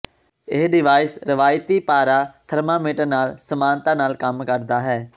ਇਹ ਡਿਵਾਇਸ ਰਵਾਇਤੀ ਪਾਰਾ ਥਰਮਾਮੀਟਰ ਨਾਲ ਸਮਾਨਤਾ ਨਾਲ ਕੰਮ ਕਰਦਾ ਹੈ